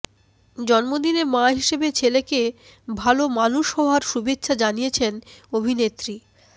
জন্মদিনে মা হিসেবে ছেলেকে ভাল মানুষ হওয়ার শুভেচ্ছা জানিয়েছেন অভিনেত্রী